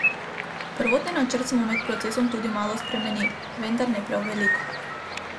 Prvotni načrt smo med procesom tudi malo spremenili, vendar ne prav veliko.